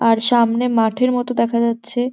আর সামনে মাঠের মতো দেখা যাচ্ছে।